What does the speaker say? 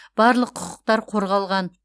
барлық құқықтар қорғалған